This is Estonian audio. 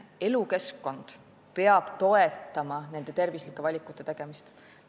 Elukeskkond peab toetama tervislike valikute tegemist.